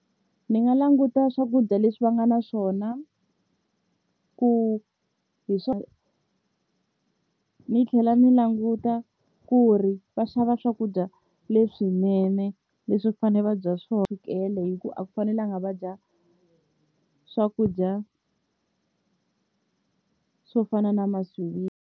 Ni nga languta swakudya leswi va nga na swona ku hi ni tlhela ni languta ku ri va xava swakudya leswinene leswi fanele va dya swo chukele hikuva a ku fanelanga va dya swakudya swo fana na .